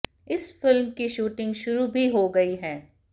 इस फिल्म की शूटिंग शुरू भी हो गई है